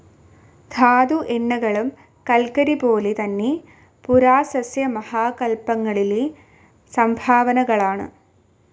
ധാതു എണ്ണകളും കല്ക്കരിപോലെതന്നെ പുരാസസ്യ മഹാകല്പങ്ങളിലെ സംഭാവനകളാണ്.